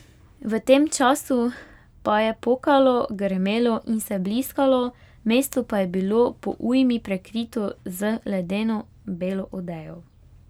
V tem času pa je pokalo, grmelo in se bliskalo, mesto pa je bilo po ujmi prekrito z ledeno belo odejo.